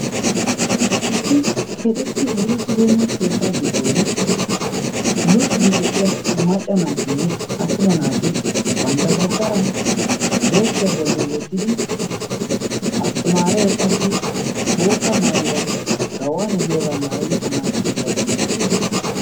issi keexettii uriichibeenna keettaa giddon luuxidi de'iya macca naatinne attuma naati bantta dabddatara deeskkiyaa bolli wottidi asttimaaree qassi bootta maayuwaa gawaaniya giyoogaa maayadi tamaarissidi diyaagii beettees